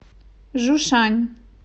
жушань